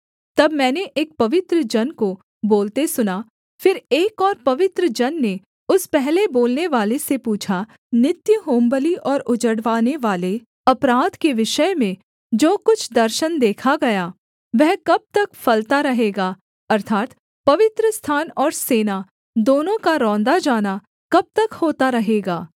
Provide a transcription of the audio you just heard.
तब मैंने एक पवित्र जन को बोलते सुना फिर एक और पवित्र जन ने उस पहले बोलनेवाले से पूछा नित्य होमबलि और उजड़वानेवाले अपराध के विषय में जो कुछ दर्शन देखा गया वह कब तक फलता रहेगा अर्थात् पवित्रस्थान और सेना दोनों का रौंदा जाना कब तक होता रहेगा